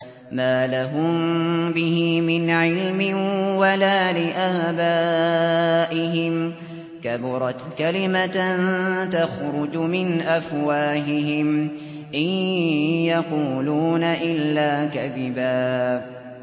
مَّا لَهُم بِهِ مِنْ عِلْمٍ وَلَا لِآبَائِهِمْ ۚ كَبُرَتْ كَلِمَةً تَخْرُجُ مِنْ أَفْوَاهِهِمْ ۚ إِن يَقُولُونَ إِلَّا كَذِبًا